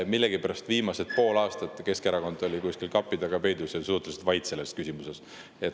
Millegipärast viimased pool aastat Keskerakond oli kuskil kapi taga peidus ja suhteliselt vait selles küsimuses.